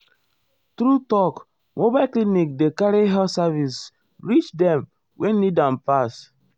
true talk mobile clinic dey carry health service reach dem wey need am ehm pass.